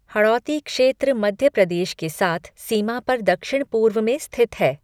हड़ौती क्षेत्र मध्य प्रदेश के साथ सीमा पर दक्षिण पूर्व में स्थित है।